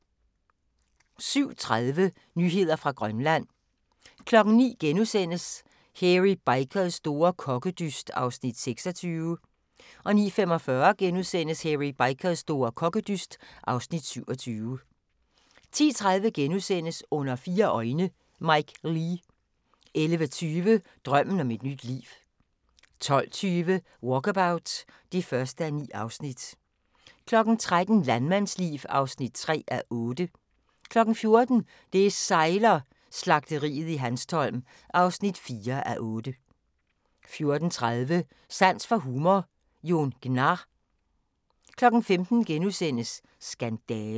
07:30: Nyheder fra Grønland 09:00: Hairy Bikers store kokkedyst (Afs. 26)* 09:45: Hairy Bikers store kokkedyst (Afs. 27)* 10:30: Under fire øjne – Mike Leigh * 11:20: Drømmen om et nyt liv 12:20: Walkabout (1:9) 13:00: Landmandsliv (3:8) 14:00: Det sejler - Slagteriet i Hanstholm (4:8) 14:30: Sans for humor - Jon Gnarr 15:00: Skandale *